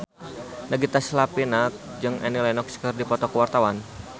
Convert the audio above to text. Nagita Slavina jeung Annie Lenox keur dipoto ku wartawan